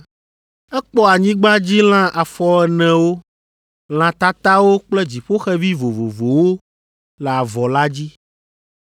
Ekpɔ anyigbadzilã afɔenewo, lã tatawo kple dziƒoxevi vovovowo le avɔ la dzi.